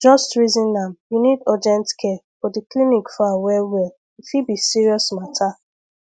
just reason am you need urgent care but the clinic far wellwell e fit be serious matter